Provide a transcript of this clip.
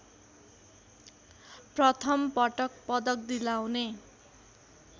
प्रथमपटक पदक दिलाउने